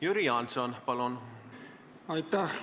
Jüri Jaanson, palun!